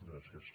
gràcies